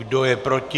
Kdo je proti?